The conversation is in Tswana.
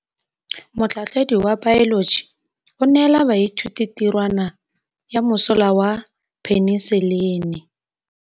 Motlhatlhaledi wa baeloji o neela baithuti tirwana ya mosola wa peniselene.